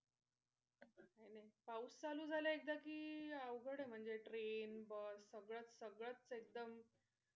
नाही नाही पाऊस चालू झाला एकदा कि अवघड आहे म्हणजे train, bus सगळंच सगळं एकदम,